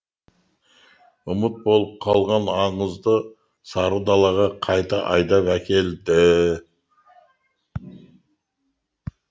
ұмыт болып қалған аңызды сары далаға қайта айдап әкелді